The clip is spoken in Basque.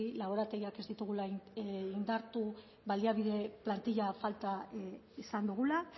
laborategiak ez ditugula indartu baliabide plantilla falta izan dugula